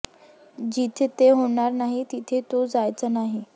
जिथे ते होणार नाही तिथे तो जायचा नाही